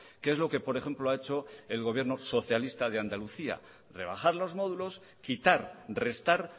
que es lo que por ejemplo ha hecho el gobierno socialista de andalucía rebajar los módulos quitar restar